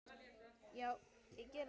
Já, ég geri það.